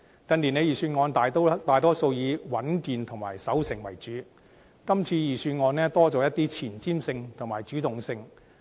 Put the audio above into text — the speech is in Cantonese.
近年預算案大多數以穩健和守成為主，今次預算案增加了一些前瞻性和主動性。